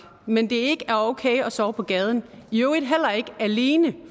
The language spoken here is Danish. men det ikke er okay at sove på gaden i øvrigt heller ikke alene